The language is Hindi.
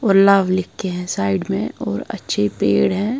लिख के है साइड में और अच्छे पेड़ हैं।